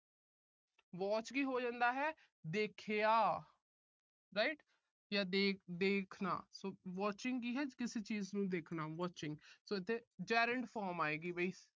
watched ਕੀ ਹੋ ਜਾਂਦਾ ਏ ਦੇਖਿਆ। right ਜਾਂ ਦੇ ਅਹ ਦੇਖਣਾ so watching ਕੀ ਹੈ ਕਿਸੀ ਚੀਜ ਨੂੰ ਦੇਖਣਾ। so ਇੱਥੇ gerund form ਆਏਗੀ ਵੀ।